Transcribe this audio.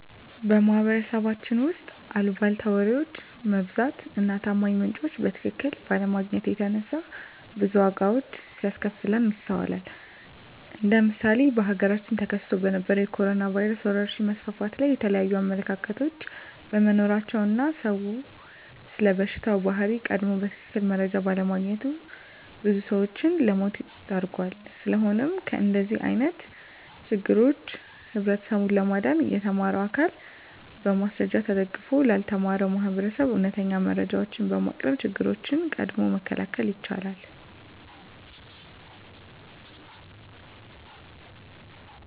በማህበረሰባችን ውስጥ አልቧልታ ወሬዎች መብዛት እና ታማኝ ምንጮችን በትክክል ባለማግኘት የተነሳ ብዙ ዋጋዎች ሲያስከፍለን ይስተዋላል እንደ ምሳሌ በሀገራችን ተከስቶ በነበረዉ የኮሮኖ ቫይረስ ወረርሽኝ መስፋፋት ላይ የተለያዩ አመለካከቶች በመኖራቸው እና ሰዉ ስለበሽታው ባህሪ ቀድሞ በትክክል መረጃ ባለማግኘቱ ብዙ ሰዎችን ለሞት ዳርጓል። ስለሆነም ከእንደዚህ አይነት ችግሮች ህብረተሰቡን ለማዳን የተማረው አካል በማስረጃ ተደግፎ ላልተማረው ማህበረሰብ እውነተኛ መረጃዎችን በማቅረብ ችግሮችን ቀድሞ መከላከል ይቻላል።